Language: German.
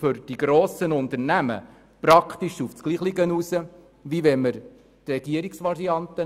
Für die grossen Unternehmen wirkt er sich praktisch gleich aus wie die Regierungsvariante.